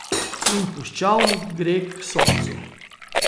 In puščavnik gre k Soncu.